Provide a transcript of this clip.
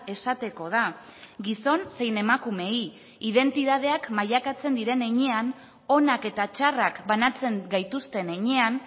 esateko da gizon zein emakumeei identitateak mailakatzen diren heinean onak eta txarrak banatzen gaituzten heinean